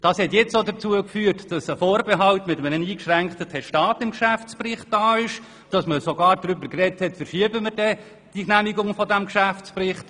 Das hat jetzt auch dazu geführt, dass ein Vorbehalt mit einem eingeschränkten Testat im Geschäftsbericht steht, und dass man sogar darüber gesprochen hat, die Genehmigung dieses Berichts zu verschieben.